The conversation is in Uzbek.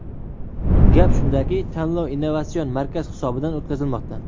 Gap shundaki, tanlov Innovatsion markaz hisobidan o‘tkazilmoqda.